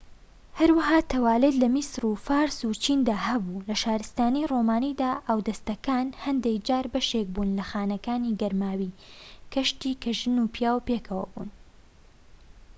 هەروەها تەوالێت لە میسر و فارس و چیندا هەبوو لە شارستانی ڕۆمانیدا ئاودەستەکان هەندێک جار بەشێک بوون لە خانەکانی گەرماوی گشتی کە ژن و پیاو پێکەوە بوون